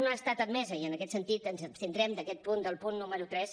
no ha estat admesa i en aquest sentit ens abstindrem en aquest punt el punt número tres